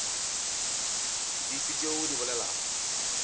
dife tšeo o di bolelago